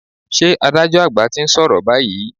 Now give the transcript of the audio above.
Ṣé adájọ́ àgbà ti ń sọ̀rọ̀ báyìí?